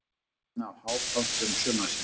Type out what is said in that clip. Einn af hápunktum sumarsins.